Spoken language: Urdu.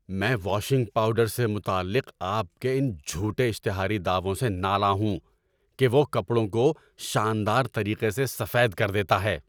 میں واشنگ پاؤڈر سے متعلق آپ کے ان جھوٹے اشتہاری دعووں سے نالاں ہوں کہ وہ کپڑوں کو شاندار طریقے سے سفید کر دیتا ہے۔